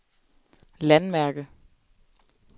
landmærke